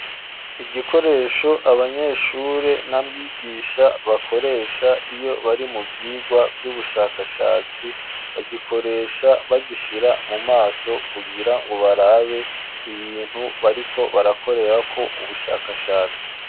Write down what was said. Igikoresho abanyeshure na mwigisha bakoresha iyo bari mu vyigwa vy'ubushakashatsi, bagikoresha bagishira mu maso, kugira ngo barabe ibintu bariko barakorerako ubushakashatsi.